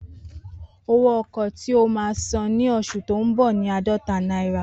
Owó ọkọ̀ tí o máa san ní oṣù tó ń bọ̀ ni aadọta náírà